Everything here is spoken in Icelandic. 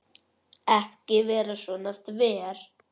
Ekki vera svona þver.